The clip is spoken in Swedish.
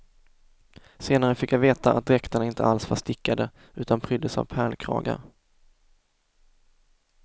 Senare fick jag veta att dräkterna inte alls var stickade utan pryddes av pärlkragar.